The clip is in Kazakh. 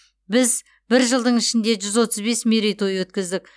біз бір жылдың ішінде жүз отыз бес мерей той өткіздік